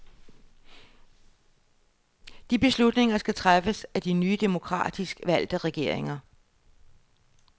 De beslutninger skal træffes af de nye demokratisk valgte regeringer.